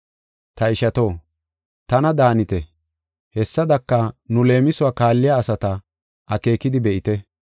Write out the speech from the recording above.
Ta ishato, tana daanite; hessadaka, nu leemisuwa kaalliya asata akeekidi be7ite.